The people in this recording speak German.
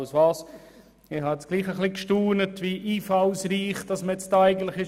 Ich habe doch gestaunt, wie einfallsreich man hier war.